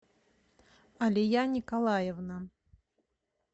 алия николаевна